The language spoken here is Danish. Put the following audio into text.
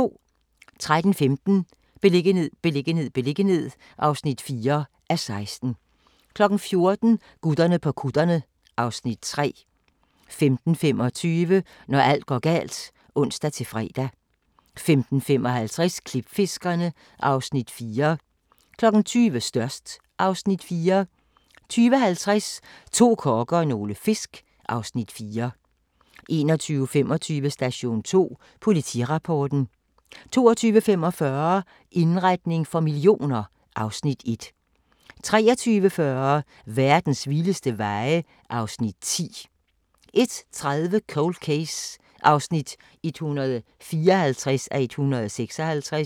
13:15: Beliggenhed, beliggenhed, beliggenhed (4:16) 14:00: Gutterne på kutterne (Afs. 3) 15:25: Når alt går galt (ons-fre) 15:55: Klipfiskerne (Afs. 4) 20:00: Størst (Afs. 4) 20:50: To kokke og nogle fisk (Afs. 4) 21:25: Station 2: Politirapporten 22:45: Indretning for millioner (Afs. 1) 23:40: Verdens vildeste veje (Afs. 10) 01:30: Cold Case (154:156)